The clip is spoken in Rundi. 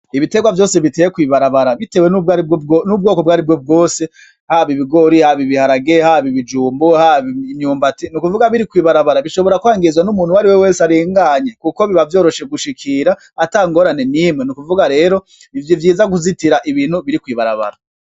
Ibiterwa vyose biteye kw'ibarabara bitewe n'ubwoko bwaribwo bwose , hab 'ibigori, hab'ibiharage , hab'ibijumbu , hab'imyumbati nukuvuga biri kw 'ibarabara bishobora kwinkizwa n'umuntu wese arenganye kuko biba vyoroshe gushikira ata ngorane nimwe, nukuvuga rero n'ivyiza kuzitira ibintu biri kw'ibarabara.